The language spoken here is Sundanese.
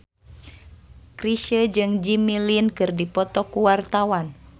Chrisye jeung Jimmy Lin keur dipoto ku wartawan